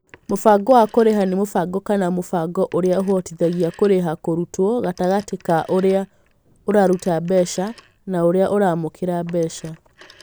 Mũbango wa kũrĩha nĩ mũbango kana mũbango ũrĩa ũhotithagia kũrĩha kũrutwo gatagatĩ ka ũrĩa ũraruta mbeca na ũrĩa ũramũkĩra mbeca.